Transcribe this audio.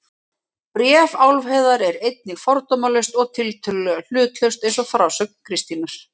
Bréf Álfheiðar er einnig fordómalaust og tiltölulega hlutlaust eins og frásögn Kristínar.